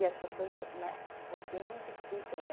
E as pessoas, né, opinam e discutem né